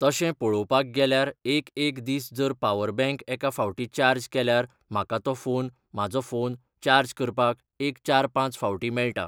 तशें पळोवपाक गेल्यार एक एक दीस जर पावर बँक एका फावटी चार्ज केल्यार म्हाका तो फोन म्हाजो फोन चार्ज करपाक एक चार पांच फावटीं मेळटा.